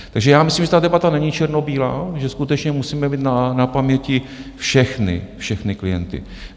Takže já myslím, že ta debata není černobílá, že skutečně musíme mít na paměti všechny klienty.